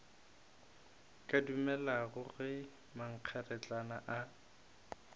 ka dumelago ge mankgeretlana a